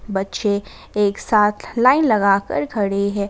बच्चे एक साथ लाईन लगा कर खड़े है।